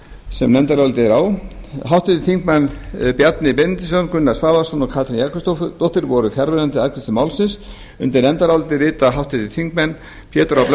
sem nefndarálitið er á háttvirtu þingmenn bjarni benediktsson gunnar svavarsson og katrín jakobsdóttir voru fjarverandi við afgreiðslu málsins undir nefndarálitið rita háttvirtir þingmenn pétur h blöndal